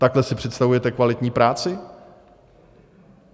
Takhle si představujete kvalitní práci?